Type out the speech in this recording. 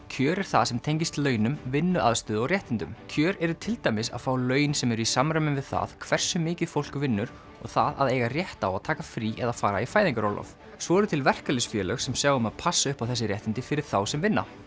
kjör er það sem tengist launum vinnuaðstöðu og réttindum kjör eru til dæmis að fá laun sem eru í samræmi við það hversu mikið fólk vinnur og það að eiga rétt á að taka frí eða fara í fæðingarorlof svo eru til verkalýðsfélög sem sjá um að passa upp á þessi réttindi fyrir þá sem vinna